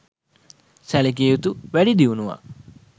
සැලකිය යුතු වැඩිදියුණුවක්